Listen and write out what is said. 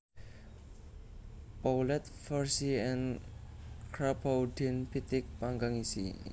Poulet farcie en Crapaudine pitik panggang isi